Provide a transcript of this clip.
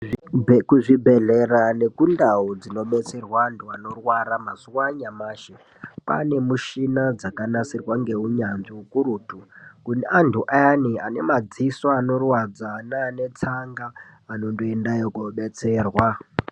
Kuzvibhendlera nekundau dzinobetserwa antu anorwara mazuwa anyamashi kwaane mishina dzakanasirwa ngeunyanzvi ukurutu. Kune antu ayani ane madziso anorwadza neane tsanga anondoendayo koobetserwa.